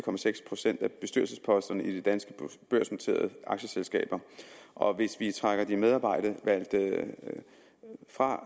procent af bestyrelsesposterne i de danske børsnoterede aktieselskaber og hvis vi trækker de medarbejdervalgte fra